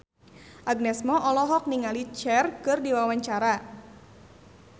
Agnes Mo olohok ningali Cher keur diwawancara